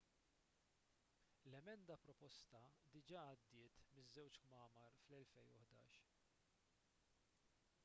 l-emenda proposta diġà għaddiet miż-żewġ kmamar fl-2011